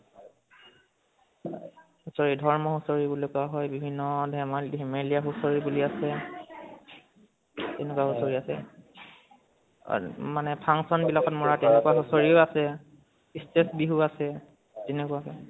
হুচৰি হুচৰি বুলি কোৱা হয়, বিভিন্ন ধে~ ধেমেলীয়া হুচৰি বুলি আছে। তেনেকুৱা হুচৰি আছে। অহ মানে function বিলাকত মʼৰা তেনেকোৱা হুচৰিও আছে। state বিহু আছে, তেনেকোৱাকে